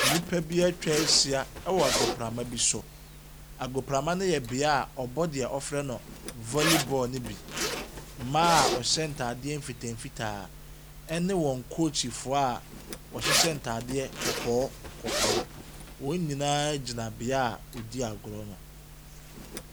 Nnipa bi ɛtwahyia ɛwɔ agoprama bi so. Agoprama no yɛ beaeɛ wɔbɔ deɛ wɔfrɛ no volley ball no bi. Mmaa wɔhyɛ ntaade nfitaa fitaa ne wɔn coachfoɔ a ɔhyehyɛ ntaade kɔkɔɔ kɔkɔɔ. Wɔn nyinaa gyina beaeɛ ɔdi agorɔ no.